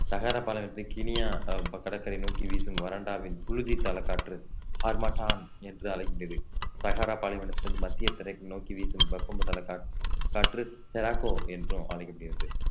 சகாரா பாலைவனத்தில் கினியா கடற்கரை நோக்கி வீசும் வறண்டாவின் புழுதி தலக் காற்று ஹார்மாட்டான் என்று அழைக்கிறது சகாரா பாலைவனத்தில் இருந்து மத்திய திரைக்குள் நோக்கி வீசும் காற்~ காற்று தெராக்கோ என்றும் அழைக்கப்படுகிறது